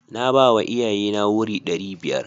Na bawa iyaye na wuri ɗari biyar.